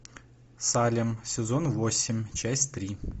салем сезон восемь часть три